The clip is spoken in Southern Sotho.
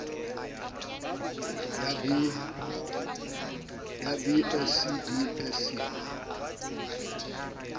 ya b sc b sc